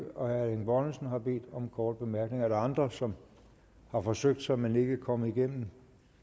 og herre erling bonnesen har bedt om korte bemærkninger er der andre som har forsøgt sig men ikke er kommet igennem